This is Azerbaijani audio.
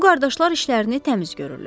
Bu qardaşlar işlərini təmiz görürlər.